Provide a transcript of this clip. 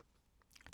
TV 2